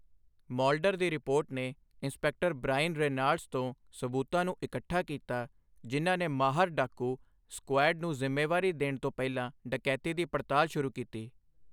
Mulder ਦੀ report ਨੇ inspector Brian Reynolds ਤੋਂ ਸਬੂਤਾਂ ਨੂੰ ਇਕੱਠਾ ਕੀਤਾ, ਜਿਨ੍ਹਾਂ ਨੇ ਮਾਹਰ ਡਾਕੂ ਸਕੁਐਡ ਨੂੰ ਜ਼ਿੰਮੇਵਾਰੀ ਦੇਣ ਤੋਂ ਪਹਿਲਾਂ ਡਕੈਤੀ ਦੀ ਪੜਤਾਲ ਸ਼ੁਰੂ ਕੀਤੀ ਸੀ।